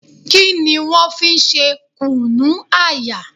Kí ni wọ́n fi ń ṣe Kùnu-aya?